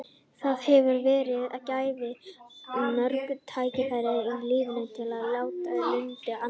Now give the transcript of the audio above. Það hefur verið gæfa að fá mörg tækifæri í lífinu til að létta lund annarra.